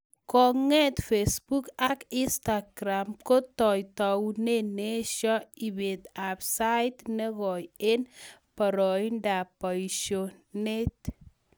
Konge�t facebook ak Instagram kotoi taunet neeshoi ibeet ab sait negoi eng boroindo ab boishonet